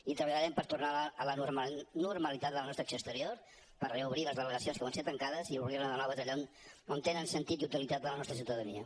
i treballarem per tornar a la normalitat la nostra acció exterior per reobrir les delegacions que van ser tancades i obrir ne de noves allà on tenen sentit i utilitat per a la nostra ciutadania